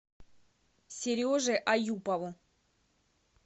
сереже аюпову